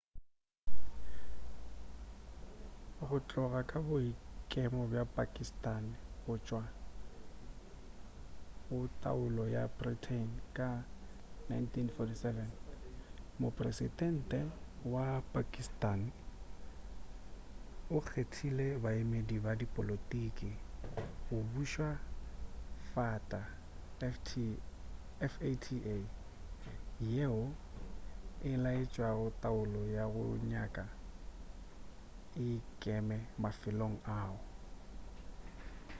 go tloga ka boikemo bja pakistani go tšwa go taolo ya britain ka 1947 mopresedente wa pakistani o kgethile baemedi ba dipolotiki go buša fata yeo e laetšago taolo ya go nyaka e ikeme mafelong ao